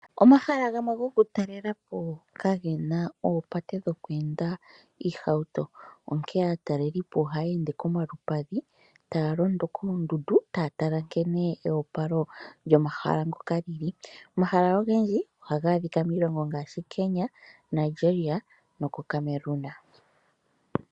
Omahala ngono gokutalelapo kgena oopate dhoku enda iihauto. Onkee aatalelipo ohaya ende komalupadhi taya londo koondundu taya tala nkene eyopalo lyomahala ngoka lili. Omahala ogendji ohaga adhika miilongo ngaashi Kenya, Nigeria noko Cameroon.